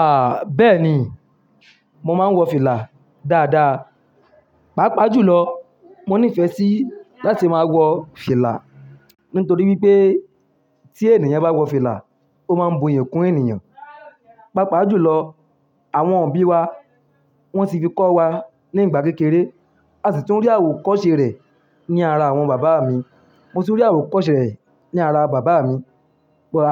Ah! Bẹ́ẹ̀ni, mo máa ń wọ fìlà dáadáa. Páa pa jù lọ, mo nífẹ̀ẹ́ sí láti máa wọ fìlà. Nítorí wípé tí ènìyàn bá wọ fìlà, ó máa ń bu iyi kún ènìyàn. Páa pa jù lọ, àwọn òbí wa wón ti fi kọ́ wa nígbà kékeré. A sì tún rí àwò kọ́ṣẹ́ rẹ̀ ní ara àwọn bàbá mi. Mo tún rí àwò kọ́ṣẹ́ rẹ̀ ní ara bàbá mi,